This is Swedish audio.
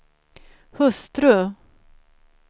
hustru